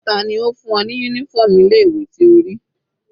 Tani ó fún ní uniform ilé ìwé tí o rí?